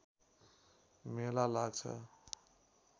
मेला लाग्छ